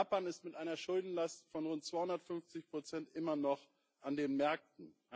Japan ist mit einer Schuldenlast von rund 250 immer noch an den Märkten.